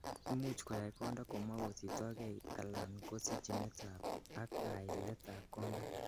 Imuch koyai konda komokosiptokei alan ko kosochinetab ak kailetab konda.